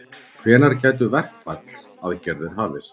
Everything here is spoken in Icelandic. Hvenær gætu verkfallsaðgerðir hafist?